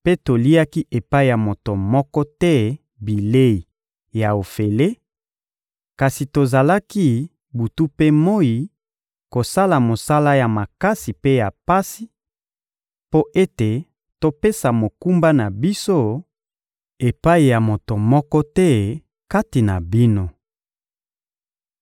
mpe toliaki epai ya moto moko te bilei ya ofele; kasi tozalaki, butu mpe moyi, kosala mosala ya makasi mpe ya pasi, mpo ete topesa mokumba na biso epai ya moto moko te kati na bino.